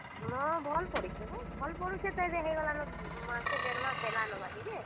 ହଁ, ଭଲ ପଡୁଛେ ବୋ। ଭଲ ପଡୁଛେ ତ ଏଦେ ହେଇଗଲାନ ମାସେ ଡେଢ ମାସ ହେଲାନ ବାକି ଯେ।